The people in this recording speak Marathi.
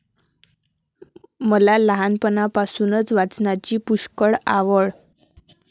मला लहानपणापासून वाचनाची पुष्कळ आवड.